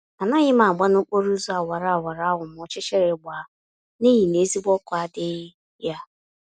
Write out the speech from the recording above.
Anaghịm agba nokporo ụzọ awara awara ahụ ma ọchịchịrị gbaa, n'ihi na ezigbo ọkụ adịghị ya